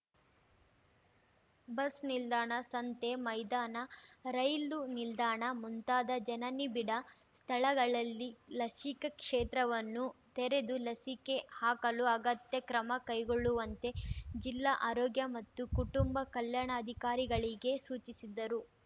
ಬಸ್‌ನಿಲ್ದಾಣ ಸಂತೆ ಮೈದಾನ ರೈಲು ನಿಲ್ದಾಣ ಮುಂತಾದ ಜನನಿಬಿಡ ಸ್ಥಳಗಳಲ್ಲಿ ಲಸಿಕಾ ಕ್ಷೇತ್ರವನ್ನು ತೆರೆದು ಲಸಿಕೆ ಹಾಕಲು ಅಗತ್ಯ ಕ್ರಮ ಕೈಗೊಳ್ಳುವಂತೆ ಜಿಲ್ಲಾ ಆರೋಗ್ಯ ಮತ್ತು ಕುಟುಂಬ ಕಲ್ಯಾಣಾಧಿಕಾರಿಗಳಿಗೆ ಸೂಚಿಸಿದರು